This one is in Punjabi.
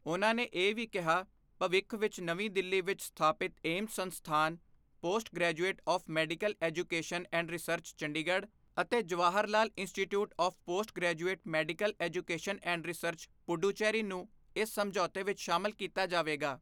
ਉਨ੍ਹਾਂ ਨੇ ਇਹ ਵੀ ਕਿਹਾ, ਭਵਿੱਖ ਵਿੱਚ ਨਵੀਂ ਦਿੱਲੀ ਵਿੱਚ ਸਥਾਪਿਤ ਏਮਸ ਸੰਸਥਾਨ, post graduate of medical education and research, Chandigarh ਅਤੇ Jawahar Lal institute of postgraduate medical education and research, Puducherry ਨੂੰ ਇਸ ਸਮਝੌਤੇ ਵਿੱਚ ਸ਼ਾਮਲ ਕੀਤਾ ਜਾਵੇਗਾ।